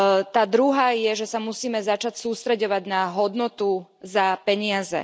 Tá druhá je, že sa musíme začať sústreďovať na hodnotu za peniaze.